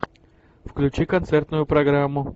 включи концертную программу